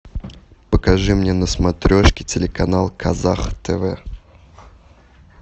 покажи мне на смотрешке телеканал казах тв